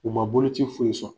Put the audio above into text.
U ma boloci foyi sɔrɔ.